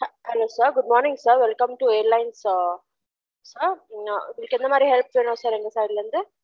Hello sir good morning sir welcome to airlines sir ah உங்களுக்கு எந்த மாதிரி help வேணும் sir எங்க side ல இருந்து